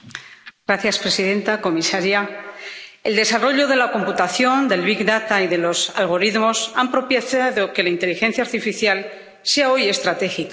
Señora presidenta, comisaria, el desarrollo de la computación, del Big Data y de los algoritmos han propiciado que la inteligencia artificial sea hoy estratégica.